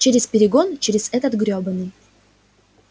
через перегон через этот гребаный